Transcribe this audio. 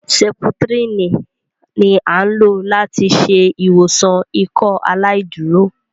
Sẹ̀ptrìnì ni a n lo lati ṣe iwọsan Ìkọaláìdúró